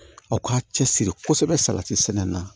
Aw k'a cɛsiri kosɛbɛ salati sɛnɛ na